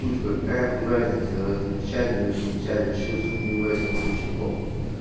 питко какая хуй разница я различать не различать вообще суть мне вообще похуй